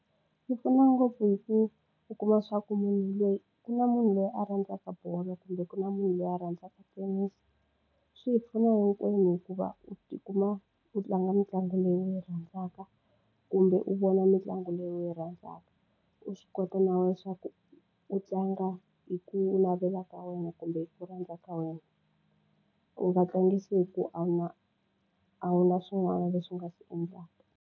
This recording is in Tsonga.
Yi pfuna ngopfu hi ku u kuma swa ku munhu loyi ku na munhu loyi a rhandzaka bolo kumbe ku na munhu loyi a rhandzaka tennis swi hi pfuna hinkwenu hikuva u tikuma u tlanga mitlangu leyi u yi rhandzaka kumbe u vona mitlangu leyi u yi rhandzaka u swi kota na leswaku u tlanga hi ku navela ka wena kumbe ku rhandza ka wena u nga tlangisi hi ku a wu na a wu na swin'wana leswi u nga swi endlaka.